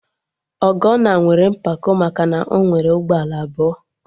Ọgọnna nwere mpako maka na ọ nwere ụgbọala abụọ